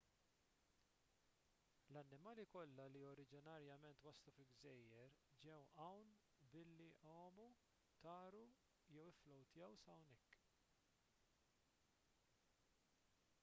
l-annimali kollha li oriġinarjament waslu fil-gżejjer ġew hawn billi għamu taru jew ifflowtjaw s'hawnhekk